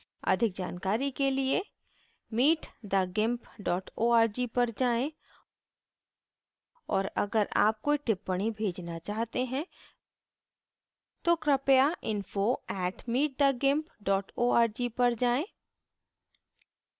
अधिक जानकारी के लिए